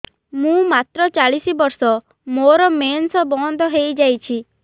ମୁଁ ମାତ୍ର ଚାଳିଶ ବର୍ଷ ମୋର ମେନ୍ସ ବନ୍ଦ ହେଇଯାଇଛି